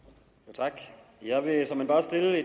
tak jeg vil såmænd bare stille